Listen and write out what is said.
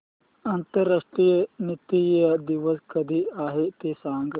आंतरराष्ट्रीय नृत्य दिवस कधी आहे ते सांग